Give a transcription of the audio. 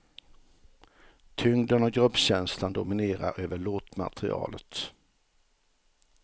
Tyngden och gruppkänslan dominerar över låtmaterialet.